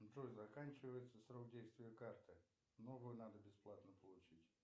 джой заканчивается срок действия карты новую надо бесплатно получить